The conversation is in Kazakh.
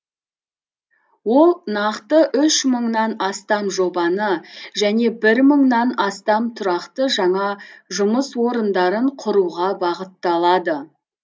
ол нақты үш мыңнан астам жобаны және бір мыңнан астам тұрақты жаңа жұмыс орындарын құруға бағытталады